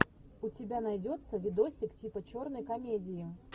у тебя найдется видосик типа черной комедии